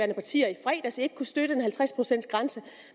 partier i fredags ikke kunne støtte en halvtreds procents grænse